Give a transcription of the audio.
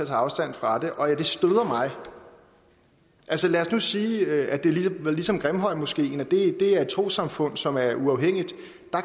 afstand fra det og det støder mig lad os nu sige at det var ligesom grimhøjmoskeen det er et trossamfund som er uafhængigt